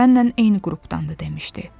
Mənnən eyni qrupdandı, demişdi.